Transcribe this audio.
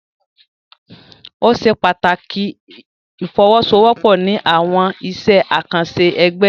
O ṣe pàtàkì ifowosowopo ní awọn iṣẹ akanṣe ẹgbẹ.